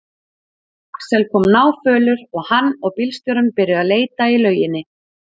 Axel kom náfölur og hann og bílstjórinn byrjuðu að leita í lauginni.